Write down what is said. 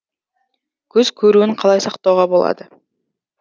көз көруін қалай сақтауға болады